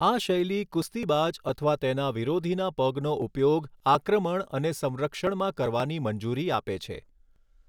આ શૈલી કુસ્તીબાજ અથવા તેના વિરોધીના પગનો ઉપયોગ આક્રમણ અને સંરક્ષણમાં કરવાની મંજૂરી આપે છે.